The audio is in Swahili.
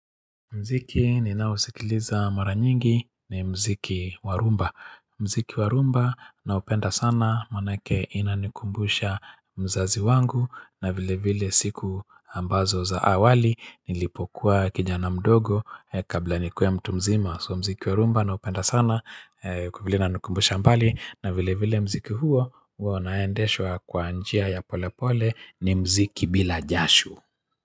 Mziki ninausikiliza mara nyingi ni mziki wa rumba. Mziki wa rumba na upenda sana manake inanikumbusha mzazi wangu na vile vile siku ambazo za awali nilipokuwa kijana mdogo kabla nikuwe mtu mzima. So mziki wa rumba naupenda sana kwa vile inanikumbusha mbali na vile vile mziki huo huo unaendeshwa kwa njia ya pole pole ni mziki bila jasho.